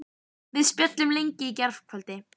Við spjölluðum lengi í gærkvöldi.